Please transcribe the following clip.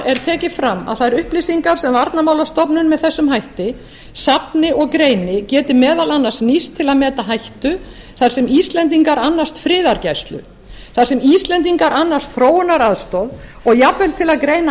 er tekið fram að þær upplýsingar sem varnarmálastofnun með þessum hætti safni og greini geti meðal annars nýst til að meta hættu þar sem íslendingar annast friðargæslu þar sem íslendingar annast þróunaraðstoð og jafnvel til að greina